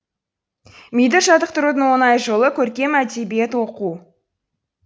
миды жаттықтырудың оңай жолы көркем әдебиет оқу